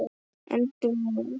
endrum og eins.